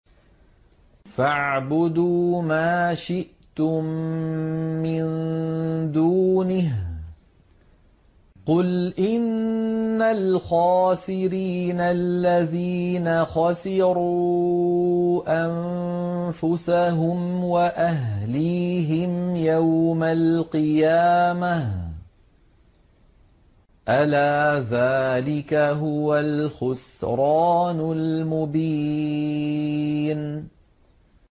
فَاعْبُدُوا مَا شِئْتُم مِّن دُونِهِ ۗ قُلْ إِنَّ الْخَاسِرِينَ الَّذِينَ خَسِرُوا أَنفُسَهُمْ وَأَهْلِيهِمْ يَوْمَ الْقِيَامَةِ ۗ أَلَا ذَٰلِكَ هُوَ الْخُسْرَانُ الْمُبِينُ